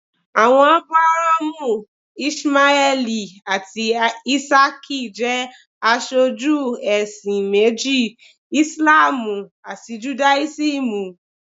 Àwọn Ábúráhámù, Íṣímáẹ́lì àti Ísákì jẹ́ aṣojú ẹ̀sìn méjì, Ìsìlámù àti Judáísímù.